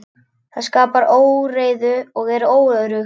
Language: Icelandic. Það skapar óreiðu og er óöruggt.